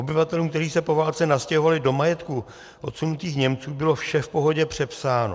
Obyvatelům, kteří se po válce nastěhovali do majetků odsunutých Němců, bylo vše v pohodě přepsáno.